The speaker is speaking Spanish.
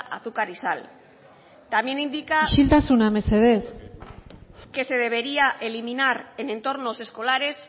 azúcar y sal también indica isiltasuna mesedez que se debería eliminar en entornos escolares